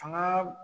Fanga